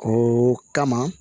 O kama